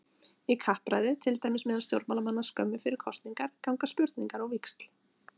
Í kappræðu, til dæmis meðal stjórnmálamanna skömmu fyrir kosningar, ganga spurningar á víxl.